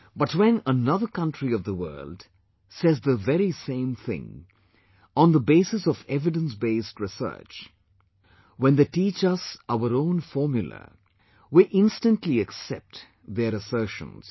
But when another country of the world, says the very same thing, on the basis of evidence based research, when they teach us our own formula, we instantly accept their assertions